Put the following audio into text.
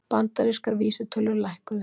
Bandarískar vísitölur lækkuðu